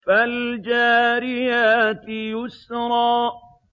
فَالْجَارِيَاتِ يُسْرًا